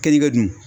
Kɛli kɛ dun